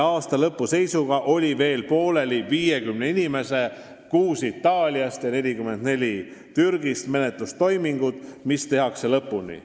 Aasta lõpu seisuga olid pooleli 50 inimese – 6 Itaaliast ja 44 Türgist – menetlustoimingud, mis tehakse lõpuni.